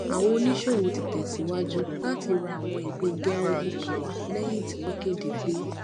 àwọn oníṣòwò ti tẹ síwájú láti ra àwọn ìpín geregu power lẹyìn tí wọn kéde pé